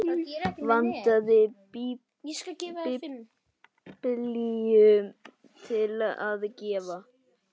Vantaði biblíu til að gefa.